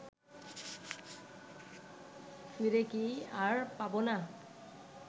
ফিরে কি আর পাব না